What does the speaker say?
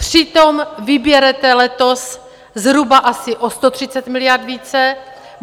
Přitom vyberete letos zhruba asi o 130 miliard více.